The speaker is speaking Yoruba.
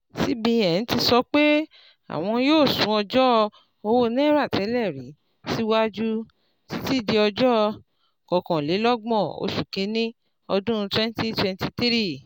cbn ti sọ pé àwọn yóò sún ọjọ́ owó náírà tẹ́lẹ̀rí síwájú títí di ọjọ́ kọkànlélọ́gbọ̀n oṣù kínní ọdún twenty twenty three